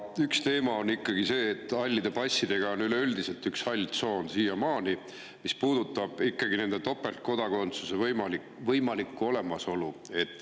Üks teema on ikkagi see, et hallide passidega käib siiamaani üleüldiselt kaasas üks hall tsoon, mis puudutab topeltkodakondsuse võimalust.